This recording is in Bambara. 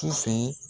Su fɛ